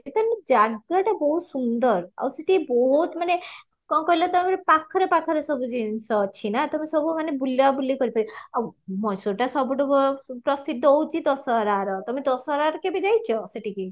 ମାନେ ଜାଗଟା ବହୁତ ସୁନ୍ଦର ଆଉ ସେଠି ବହୁତ ମାନେ କଣ କହିଲ ତ ପାଖରେ ପାଖରେ ସବୁ ଜିନିଷ ଅଛି ନା ତମେ ସବୁ ମାନେ ବୁଲ ବୁଲି କରି ପାରିବା ମଏଶ୍ଵରଟା ସବୁଠୁ ପ୍ରସିଦ୍ଧ ହଉଚି ଦଶହରା ତମେ ଦଶହରର କେବେ ଯାଇଚ ସେଠିକି